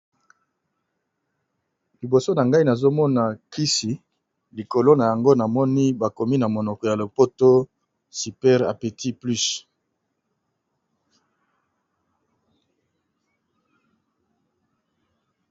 Liboso na ngai nazomona kisi likolo na yango na moni bakomi na monoko ya lopoto super apeti plus.